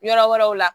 Yɔrɔ wɛrɛw la